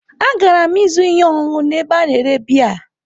Agara m ịzụrụ ihe ọṅụṅụ n'ebe a na-ere biya.